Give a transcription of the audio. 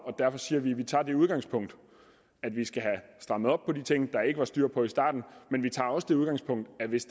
derfor siger vi at vi tager det udgangspunkt at vi skal have strammet op på de ting der ikke var styr på i starten men vi tager også det udgangspunkt at hvis